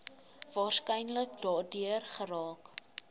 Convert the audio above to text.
waarskynlik daardeur geraak